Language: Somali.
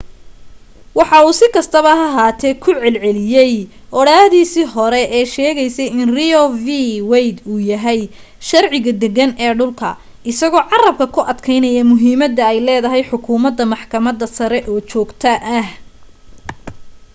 waxa uu si kastaba ha ahaatee ku celiyay odhaahdiisii hore ee sheegaysay in roe v. wade uu yahay sharciga deggan ee dhulka isagoo carrabka ku adkaynaya muhiimadda ay leedahay xukumadda maxkamadda sare oo joogto ah